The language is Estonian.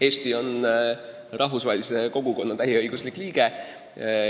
Eesti on rahvusvahelise kogukonna täieõiguslik liige.